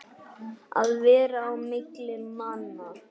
Að vera á milli manna!